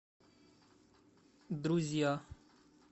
друзья